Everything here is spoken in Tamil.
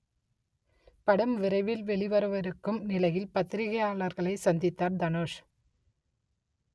படம் விரைவில் வெளிவரவிருக்கும் நிலையில் பத்திரிகையாளர்களை சந்தித்தார் தனுஷ்